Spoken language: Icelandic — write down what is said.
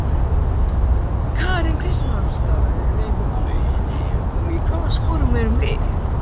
Karen Kjartansdóttir: Í hvaða sporum erum við?